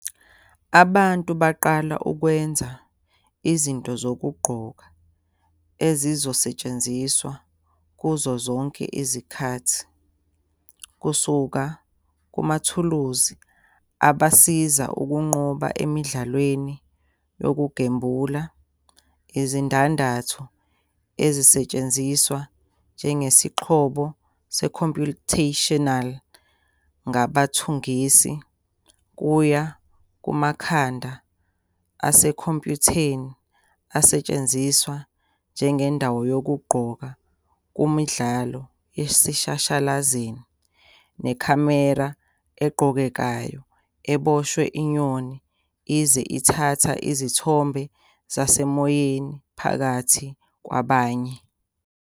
Abantu baqala ukwenza izinto zokugqoka ezizosetshenziswa kuzo zonke izikhathi, kusuka kumathuluzi abasiza ukunqoba emidlalweni yokugembula, izindandatho ezisetshenziswa njengesixhobo se-computational ngabathengisi, kuya kumakhanda asekhompyutheni asetshenziswa njengendawo yokugqoka kumidlalo yaseshashalazini, nekhamera egqokekayo eboshwe inyoni iye thatha izithombe zasemoyeni, phakathi kwabanye.